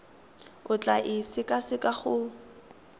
o tla e sekaseka go